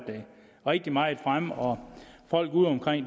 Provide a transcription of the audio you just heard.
rigtig meget fremme og folk udeomkring